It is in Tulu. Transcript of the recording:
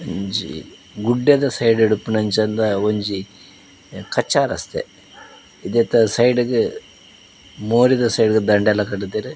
ಒಂಜಿ ಗುಡ್ಡದ ಸೈಡ್ ಡಿಪ್ಪುನಂಚಾದ ಒಂಜಿ ಕಚ್ಚಾ ರಸ್ತೆ ಉಂದೆತ ಸೈಡ್ ಗ್ ಲೋರಿ ದ ಸೈಡ್ ದಂಡೆ ಲ ಕಟ್ದೇರ್.